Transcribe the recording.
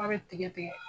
A bɛ tigɛ tigɛ